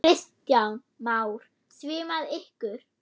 Kristján Már: Svimaði ykkur?